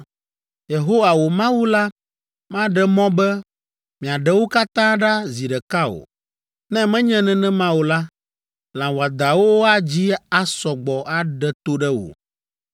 Yehowa, wò Mawu la maɖe mɔ be miaɖe wo katã ɖa zi ɖeka o, ne menye nenema o la, lã wɔadãwo adzi asɔ gbɔ aɖe to ɖe wò.